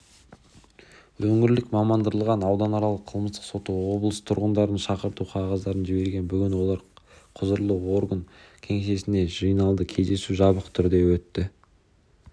өңірлік мамандандырылған ауданаралық қылмыстық соты облыс тұрғындарына шақырту қағаздарын жіберген бүгін олар құзырлы орган кеңсесіне жиналды кездесу жабық түрде өтті